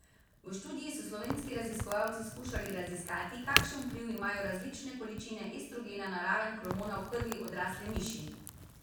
V študiji so slovenski raziskovalci skušali raziskati, kakšen vpliv imajo različne količine estrogena na raven hormona v krvi odrasle miši.